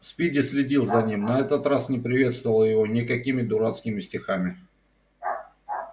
спиди следил за ним на этот раз не приветствовал его никакими дурацкими стихами